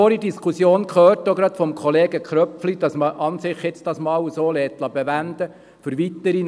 Wir haben vorhin gehört, auch gerade von Kollege Köpfli, man solle es jetzt mal so bewenden lassen.